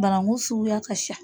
Barangun suguya ka sa.